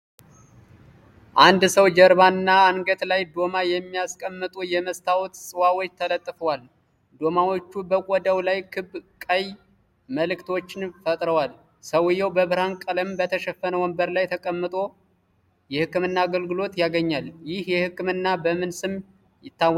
የአንድ ሰው ጀርባና አንገት ላይ ዶማ የሚያስቀምጡ የመስታወት ጽዋዎች ተለጥፈዋል። ዶማዎቹ በቆዳው ላይ ክብ ቀይ ምልክቶችን ፈጥረዋል። ሰውየው በብርሃን ቀለም በተሸፈነ ወንበር ላይ ተቀምጦ የህክምና አገልግሎት ያገኛል። ይህ ህክምና በምን ስም ይታወቃል?